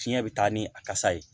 Fiɲɛ bɛ taa ni a kasa ye